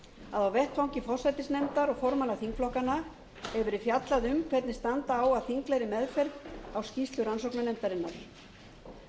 að á vettvangi forsætisnefndar og formanna þingflokkanna hefur verið fjallað um hvernig standa á að þinglegri meðferð á skýrslu rannsóknarnefndarinnar samstaða